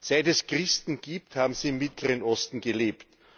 Seit es Christen gibt, haben sie im Mittleren Osten gelebt.